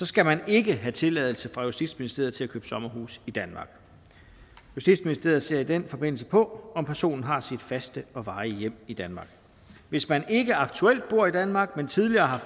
skal man ikke have tilladelse fra justitsministeriet til at købe sommerhus i danmark justitsministeriet ser i den forbindelse på om personen har sit faste og varige hjem i danmark hvis man ikke aktuelt bor i danmark men tidligere har